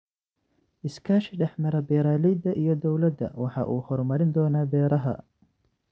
Iskaashi dhex mara beeralayda iyo dawladda waxa uu horumarin doonaa beeraha.